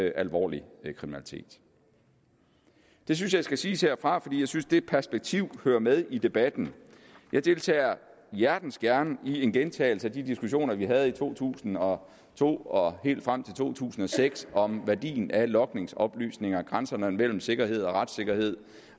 alvorlig kriminalitet det synes jeg skal siges herfra for jeg synes at det perspektiv hører med i debatten jeg deltager hjertens gerne i en gentagelse af de diskussioner vi havde i to tusind og to og helt frem til to tusind og seks om værdien af logningsoplysninger grænserne mellem sikkerhed og retssikkerhed